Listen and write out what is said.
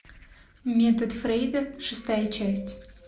метод фрейда шестая часть